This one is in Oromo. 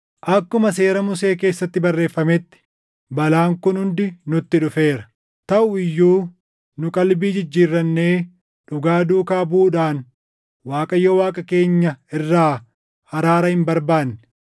Akkuma Seera Musee keessatti barreeffametti balaan kun hundi nutti dhufeera; taʼu iyyuu nu qalbii jijjiirrannee dhugaa duukaa buʼuudhaan Waaqayyo Waaqa keenya irraa araara hin barbaanne.